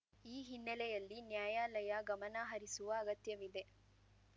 ಈ ಹಿನ್ನೆಲೆಯಲ್ಲಿ ನ್ಯಾಯಾಲಯ ಗಮನ ಹರಿಸುವ ಅಗತ್ಯವಿದೆ